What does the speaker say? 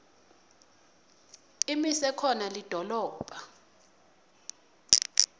imise khona lidolobha